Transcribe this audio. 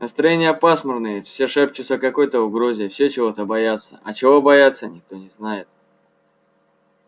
настроения пасмурные все шепчутся о какой-то угрозе все чего-то боятся а чего боятся никто не знает